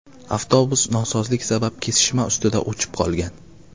Avtobus nosozlik sabab kesishma ustida o‘chib qolgan.